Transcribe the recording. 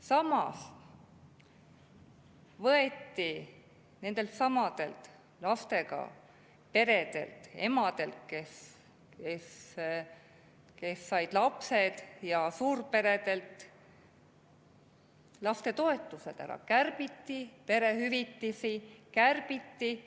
Samas võeti nendeltsamadelt lastega peredelt, emadelt, kes said lapsed, ja suurperedelt lastetoetused ära, perehüvitisi kärbiti.